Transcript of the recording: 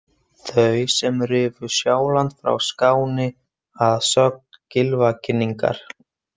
Þau sem rifu Sjáland frá Skáni að sögn Gylfaginningar.